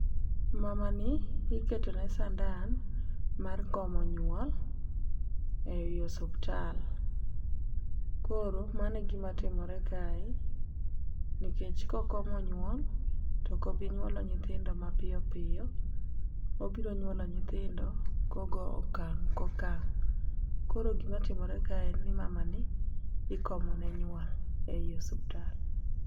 Mama ni iketo ne sandan mar komo nyuol e i osuptal. Koro mane gima timore kae nikech ko komo nyuol toko bi nyuolo nyithindo mapiyo piyo. Obiro nyuolo nyithindo kogo okang' kokang' koro gima timore kae en ni mama ni ikomo ne nyuol e osiptal.